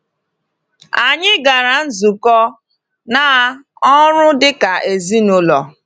Anyị gara nzukọ na ọrụ dịka ezinụlọ.